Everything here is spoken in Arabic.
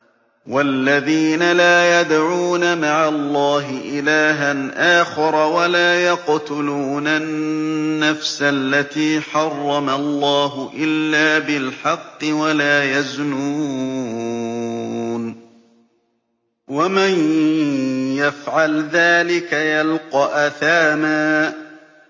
وَالَّذِينَ لَا يَدْعُونَ مَعَ اللَّهِ إِلَٰهًا آخَرَ وَلَا يَقْتُلُونَ النَّفْسَ الَّتِي حَرَّمَ اللَّهُ إِلَّا بِالْحَقِّ وَلَا يَزْنُونَ ۚ وَمَن يَفْعَلْ ذَٰلِكَ يَلْقَ أَثَامًا